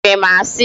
I sịrị m asị?